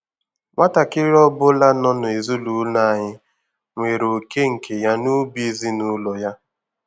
Nwatakịrị ọbụla nọ n'ezinụlọ anyị nwere oké nke ya n'ubi ezinụlọ ya.